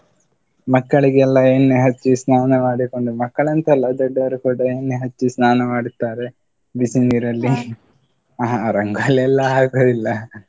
ಮಕ್ಕಳಿಗೆಲ್ಲ ಎಣ್ಣೆ ಹಚ್ಚಿ ಸ್ನಾನ ಮಾಡಿಕೊಂಡು, ಮಕ್ಕಳಂತ ಅಲ್ಲ ದೊಡ್ಡವರು ಕೂಡ ಎಣ್ಣೆ ಹಚ್ಚಿ ಸ್ನಾನ ಮಾಡುತ್ತಾರೆ, ಬಿಸಿನೀರಲ್ಲಿ ಹ ರಂಗೋಲಿಯೆಲ್ಲ ಹಾಕುದಿಲ್ಲ.